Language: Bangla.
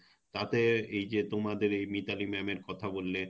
তাতে এই যে তোমাদের এই মিতালি ma'am এর কথা বললে;